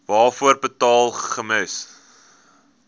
waarvoor betaal gems